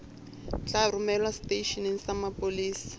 tla romelwa seteisheneng sa mapolesa